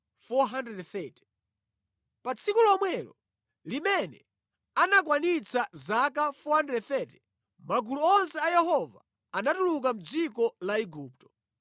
Pa tsiku lomwelo limene anakwanitsa zaka 430, magulu onse a Yehova anatuluka mʼdziko la Igupto.